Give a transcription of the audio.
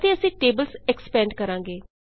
ਅਤੇ ਅਸੀਂ tables expand ਕਰਾਂਗੇ